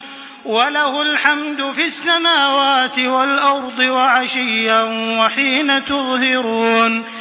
وَلَهُ الْحَمْدُ فِي السَّمَاوَاتِ وَالْأَرْضِ وَعَشِيًّا وَحِينَ تُظْهِرُونَ